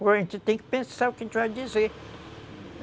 Pô, a gente tem que pensar o que a gente vai dizer.